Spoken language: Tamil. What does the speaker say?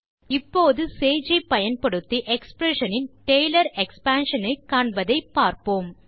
இப்போது சேஜ் ஐ பயன்படுத்தி எக்ஸ்பிரஷன் னின் டேலர் எக்ஸ்பான்ஷன் ஐ காண்பதை பார்ப்போம்